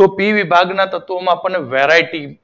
તો પી વિભાગના તત્વો માં આપડને વેરાયટી જુદી